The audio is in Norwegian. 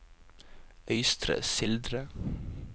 Øystre Slidre